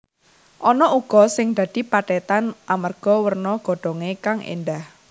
Ana uga sing dadi pethètan amarga werna godhongé kang éndah